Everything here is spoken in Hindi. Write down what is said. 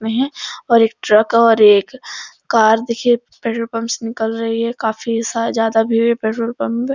और एक ट्रक आ रही है एक कार देखिए पेट्रोल पंप से निकल रही है काफी ज्यादा भीड़ है पेट्रोल पंप पे।